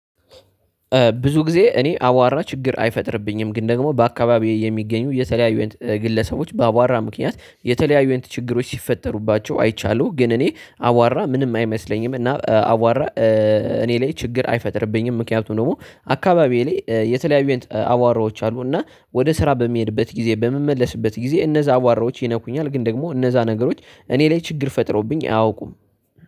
ብዙ ጊዜ እኔ አዋራ ችግር አይፈጥርብኝም ግን ደግሞ በአካባቢዬ የሚገኙ የተለያዩ ግለሰቦች በአዋራ ምክንያት የተለያዩ አይነት ችግሮች ሲፈጠሩባቸው አይቻለሁ። ግን እኔ አዋራ ምንም አይመስለኝም እና አዋራ እኔ ላይ ችግር አይፈጥርብኝም፤ ምክንያቱም ደግሞ አካባቢዬ ላይ የተለያዩ አይነት አዋራዎች አሉና ወደ ስራ በሚሄድበት ጊዜ። በምመለስበት ጊዜ እነዛ አዋራዎች ይነኩኛል ግን ደግሞ እነዛ ነገሮች እኔ ላይ ችግር ፈጥሮብኝ አያውቁም።